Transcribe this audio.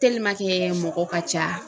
mɔgɔ ka ca